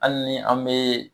Hali ni an bɛ